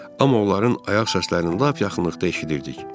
Amma onların ayaq səslərini lap yaxınlıqda eşidirdik.